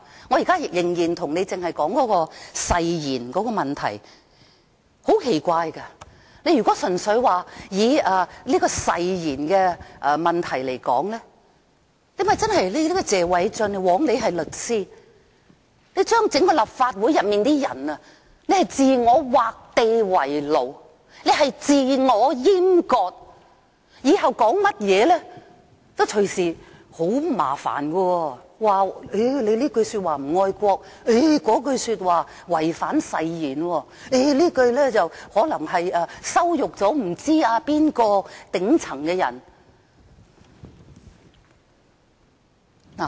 我仍然是在說誓言的問題，很奇怪，如果純粹看誓言的問題，謝偉俊議員，枉你是律師，你令整個立法會的議員自我劃地為奴，自我閹割，以後說甚麼都隨時惹麻煩，隨時被指這句說話不愛國，那句說話違反誓言，又或你這樣說可能羞辱某位頂層的人。